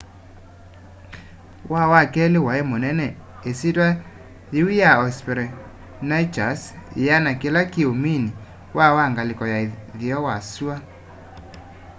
waa wa keli wai munene isyitwa yiu ya hesperonychus yiana kila kiumini waa wa ngaliko ya uthuo wa sua